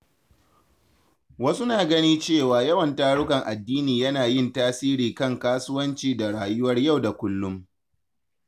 Wasu na ganin cewa yawan tarukan addini yana yin tasiri kan kasuwanci da rayuwar yau da kullum.